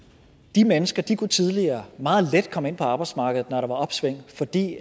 de mennesker kunne tidligere meget let komme ind på arbejdsmarkedet når der var opsving fordi